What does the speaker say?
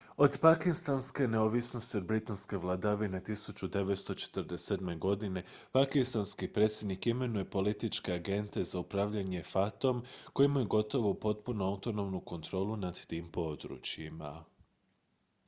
od pakistanske neovisnosti od britanske vladavine 1947. godine pakistanski predsjednik imenuje političke agente za upravljanje fata-om koji imaju gotovo potpunu autonomnu kontrolu nad tim područjima